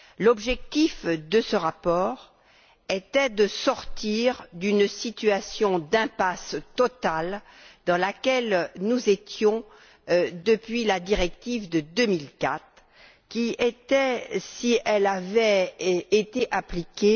L'objectif de ce rapport était de sortir d'une situation d'impasse totale dans laquelle nous étions depuis la directive de 2004 qui, si elle avait été appliquée,